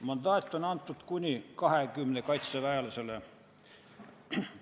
Mandaat on antud kuni 20 kaitseväelasele.